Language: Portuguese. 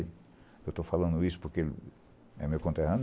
Eu estou falando isso porque é meu conterrâneo.